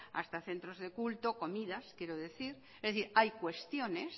hasta centro de culto comidas quiero decir es decir hay cuestiones